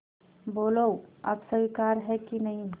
बोलो अब स्वीकार है कि नहीं